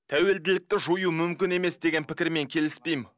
тәуілділікті жою мүмкін емес деген пікірмен келіспеймін